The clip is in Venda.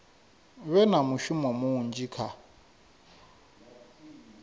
vhe na mushumo munzhi kha